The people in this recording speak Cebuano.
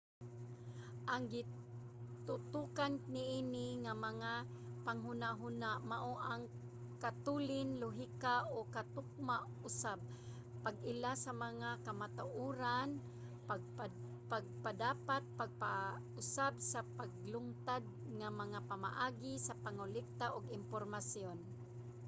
ang gitutokan niini nga panghunahuna mao ang katulin lohika ug katukma usab pag-ila sa mga kamatuoran pagpadapat pag-usab sa naglungtad nga mga pamaagi ug pangolekta og impormasyon